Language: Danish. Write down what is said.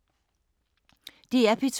DR P2